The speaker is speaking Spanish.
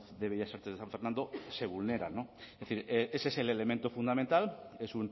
de bellas artes de san fernando se vulneran no es decir ese es el elemento fundamental es